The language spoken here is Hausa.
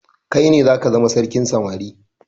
Kaine zaka zama sarkin samari